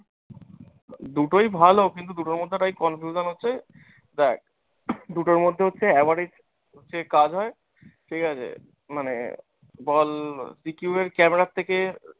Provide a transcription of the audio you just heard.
দুটোই ভালো কিন্তু দুটোর মধ্যে তাই confusion হচ্ছে দেখ দুটোর মধ্যে হচ্ছে average যে হয়য় ঠিকাছে মানে বল c q এর camera এর থেকে